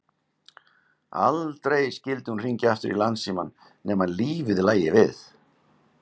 Aldrei skyldi hún hringja aftur í Landsímann nema lífið lægi við.